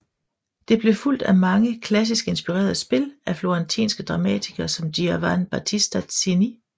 Det blev fulgt af mange klassisk inspirerede spil af florentinske dramatikere som Giovan Battista Cini